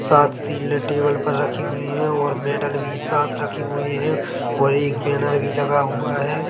साथ सिल्डे टेबल पर रखी हुई हैं और मेडल भी साथ रखे हुए हैं और एक बैनर भी लगा हुआ हैं।